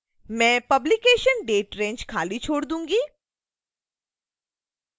मैं publication date range खाली छोड़ दूंगी